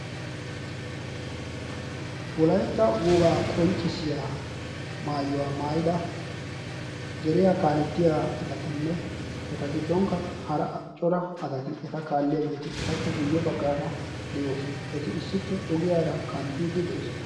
wolaytta wogaa qonccissiya maayuwaa maayida deriyaa kaalettiya asatinne eta giddonkka hara cora asati eta kaalliyaageeti etappe guyye baggaara de'oosona. eti issippe ogiyaara kanttiiddi de'oosona.